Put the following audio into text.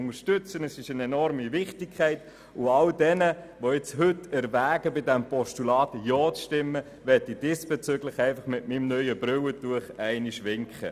All denen, die heute erwägen, diesem Postulat zuzustimmen, möchte ich mit meinem neuen Brillen-Putztuch winken.